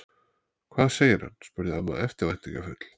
Hvað segir hann? spurði amma eftirvæntingarfull.